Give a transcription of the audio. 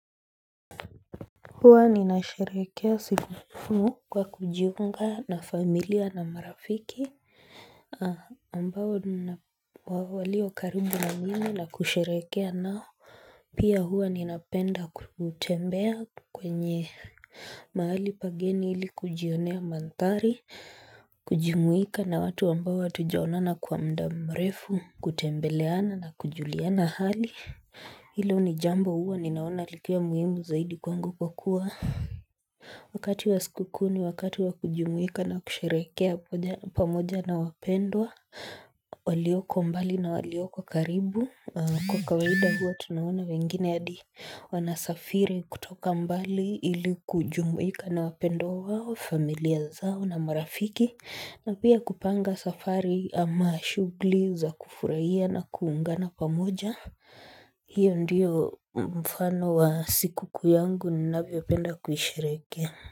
Huwa ninasherehekea siku kuu kwa kujiunga na familia na marafiki ambao walio karibu na mimi na kusherehekea nao Pia hua ninapenda kutembea kwenye mahali pageni ili kujionea mandhari, kujumuika na watu ambao hatujaonana kwa muda mrefu, kutembeleana na kujuliana hali Hilo ni jambo huwa ninaona likiwa muhimu zaidi kwangu kwa kuwa Wakati wa siku kuu ni wakati wa kujumuika na kusherehekea pamoja na wapendwa walioko mbali na walioko karibu. Kwa kawaida huwa tunaona wengine hadi wanasafiri kutoka mbali ili kujumuika na wapendwa wao, familia zao na marafiki na pia kupanga safari ama shughuli za kufurahia na kuungana pamoja hiyo ndiyo mfano wa siku kuu yangu ninavyopenda kuisherehekea.